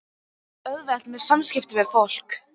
Hann á svo auðvelt með samskipti við fólk.